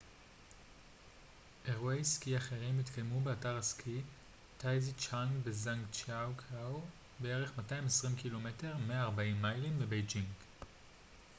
"אירועי סקי אחרים יתקיימו באתר הסקי טאיזיצ'אנג בז'אנגג'יאקו בערך 220 ק""מ 140 מיילים מבייג'ינג.